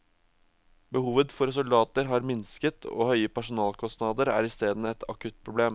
Behovet for soldater har minsket og høye personalkostnader er i steden et akutt problem.